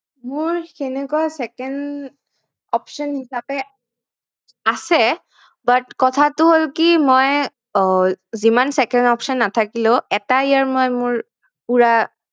মোৰ তেনেকুৱা second option হিচাপে আছে but কথাটো হল কি মই আহ যিমান second option নাথাকিলেও এটা year মই মোৰ পুৰা